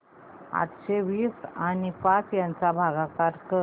अठराशे वीस आणि पाच यांचा भागाकार कर